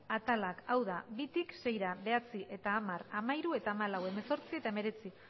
atalak hau da bitik seira bederatzi hamar hamairu eta hamalau hemezortzi hemeretzi